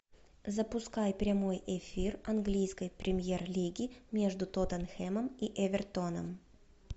запускай прямой эфир английской премьер лиги между тоттенхэмом и эвертоном